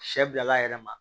Sɛ bilala a yɛrɛ ma